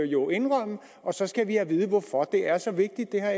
jo indrømme og så skal vi have at vide hvorfor det er så vigtigt det har